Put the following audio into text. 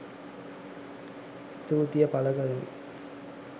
ස්තුතිය පළ කරමි